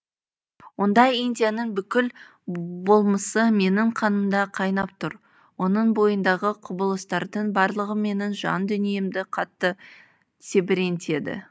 онда индияның бүкіл болмысы менің қанымда қайнап тұр оның бойындағы құбылыстардың барлығы менің жан дүниемді қатты тебірентеді